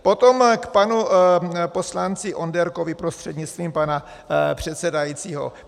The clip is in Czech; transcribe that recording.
Potom k panu poslanci Onderkovi, prostřednictvím pana předsedajícího.